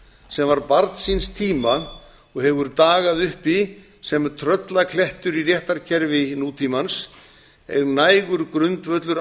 sem var barn síns tíma og hefur dagað uppi sem tröllaklettur í réttarkerfi nútímans er nægur grundvöllur